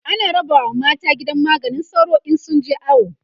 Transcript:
ana rabawa mata gidan maganin sauro in sun je awo